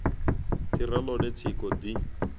ḓi re ḽone tshiko ḓi